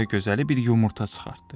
Dünya gözəli bir yumurta çıxartdı.